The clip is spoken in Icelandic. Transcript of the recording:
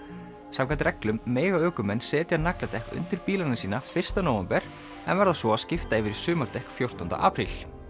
samkvæmt reglum mega ökumenn setja nagladekk undir bílana sína fyrsta nóvember en verða svo að skipta yfir á sumardekk fjórtánda apríl